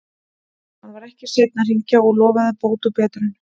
Hann var ekki seinn að hringja og lofaði bót og betrun.